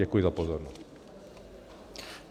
Děkuji za pozornost.